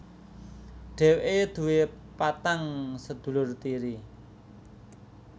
Dheweke duwé patang sedulur tiri